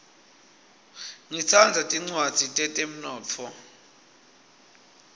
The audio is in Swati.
ngitsandza tincwadzi tetemnotfo